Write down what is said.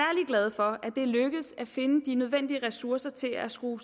glade for at det er lykkedes at finde de nødvendige ressourcer til at skrue